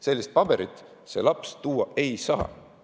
Sellist paberit see laps tuua ei saa.